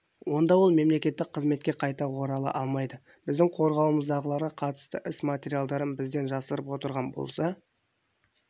онда ол мемқызметке қайта орала алмайды біздің қорғауымыздағыларға қатысты іс материалдарын бізден жасырып отырған болса